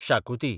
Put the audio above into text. शाकुती